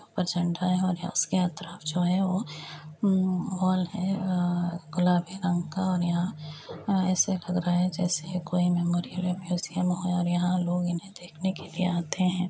ऊपर झंडा है और उसके आत्रफ जो है वो उम्म वाल है है-आ गुलाबी रंग का और यहाँ आ ऐसे लग रहा है जैसे कोई मेमोरियल या म्यूजियम हो और यहाँ लोग इन्हे देखने के लिए आते हैं